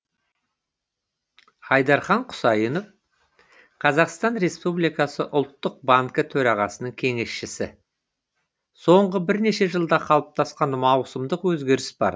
айдархан құсайынов қазақстан республикасы ұлттық банкі төрағасының кеңесшісі соңғы бірнеше жылда қалыптасқан маусымдық өзгеріс бар